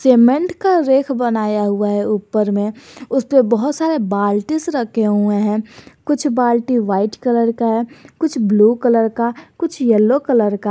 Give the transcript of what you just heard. Cement का रेख बनाया हुआ है ऊपर में उसपे बहुत सारे बाल्टिस रखे हुए हैं कुछ बाल्टी व्हाइट कलर का है कुछ ब्लू कलर का कुछ येलो कलर का।